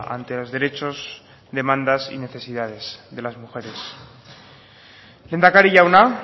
ante los derechos demandas y necesidades de las mujeres lehendakari jauna